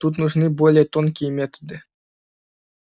тут нужны более тонкие методы